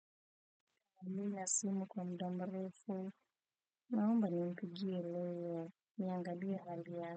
Nina simu kwa muda mrefu naomba nimpigie leo niangalie hali yake.